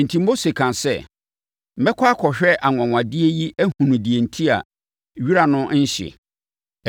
Enti, Mose kaa sɛ, “Mɛkɔ akɔhwɛ anwanwadeɛ yi ahunu deɛ enti a wira no nhye.”